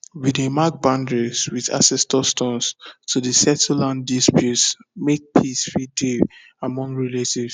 we dey mark boundaries with ancestor stones to dey settle land disputes make peace fit dey among relatives